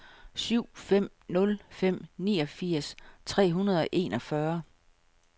syv fem nul fem niogfirs tre hundrede og enogfyrre